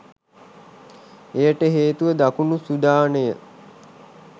එයට හේතුව දකුණු සුඩානය